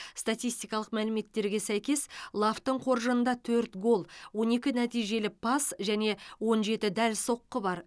статистикалық мәліметтерге сәйкес лавтың қоржынында төрт гол он екі нәтижелі пас және он жеті дәл соққы бар